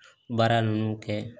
Baara ninnu kɛ